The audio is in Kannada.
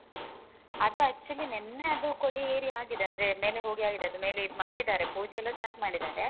ಅದು actually ನಿನ್ನೆಅದು ಕೊಡಿಯೇರಿ ಆಗಿದೆ ಅಂದ್ರೆ ಮೇಲೆ ಹೋಗಿ ಆಗಿದೆ ಅದ್ ಮೇಲೆ ಅದ್ ಮಾಡಿದಾರೆ ಪೂಜೆಯೆಲ್ಲ start ಮಾಡಿದಾರೆ.